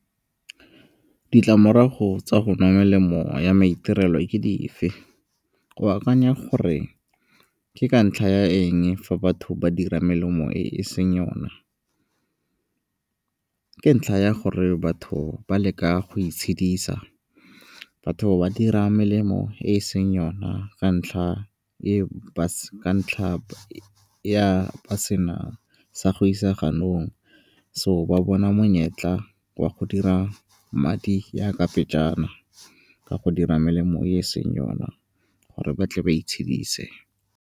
Ditlamorago tsa go nwa melemo ya maitirelo e ke dife? O akanya gore ke ka ntlha ya eng fa batho ba dira melemo e e seng yona? Ke ntlha ya gore batho ba leka go itshidisa, batho ba dira melemo e e seng yona ka ntlha ya ba se na sa go isa ganong. So ba bona monyetla wa go dira madi ya ka pejana ka go dira melemo e e seng yona gore ba tle ba itshedise.